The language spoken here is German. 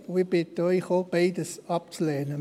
Ich bitte Sie, ebenfalls beides abzulehnen.